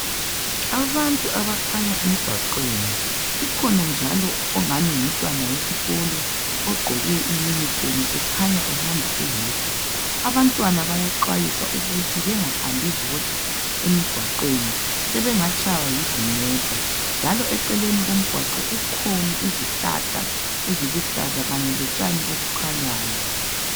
Abantu abakhanya emgwaqweni. Kukhona njalo ongani ngumntwana wesikolo ogqoke uniform ekhanya ehamba eyedwa. Abantwana bayaxwayiswa ukuthi bengahambi bodwa emgwaqweni sebengatshaywa yizimota. Njalo eceleni komgwaqo kukhona izihlahla eziluhlaza kanye lotshani olukhanyayo.